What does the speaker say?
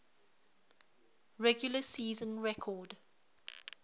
regular season record